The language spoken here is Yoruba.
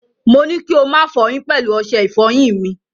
Mo ní kí ó má fọyín pẹ̀lú ọṣẹ ìfọyín mi.